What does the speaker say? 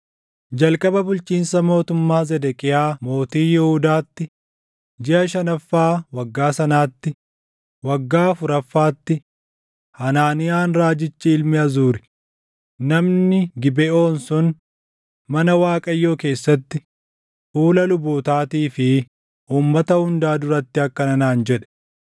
Jalqaba bulchiinsa mootummaa Zedeqiyaa mootii Yihuudaatti, jiʼa shanaffaa waggaa sanaatti, waggaa afuraffaatti, Hanaaniyaan raajichi ilmi Azuri, namni Gibeʼoon sun mana Waaqayyoo keessatti, fuula lubootaatii fi uummata hundaa duratti akkana naan jedhe: